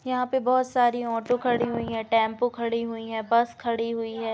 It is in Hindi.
यहाँ पे बोहोत सारी ऑटो खड़ी हुई हैं। टैम्पो खड़ी हुई हैं। बस खड़ी हुई हैं।